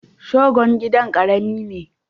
Shogon gidan ƙarami ne.